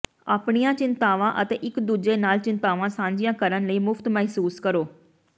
ਆਪਣੀਆਂ ਚਿੰਤਾਵਾਂ ਅਤੇ ਇੱਕ ਦੂਜੇ ਨਾਲ ਚਿੰਤਾਵਾਂ ਸਾਂਝੀਆਂ ਕਰਨ ਲਈ ਮੁਫ਼ਤ ਮਹਿਸੂਸ ਕਰੋ